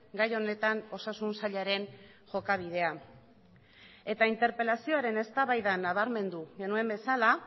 gai honetan osasun sailaren jokabidea eta interpelazioaren eztabaida nabarmendu genuen bezala